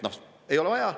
Ei ole vaja.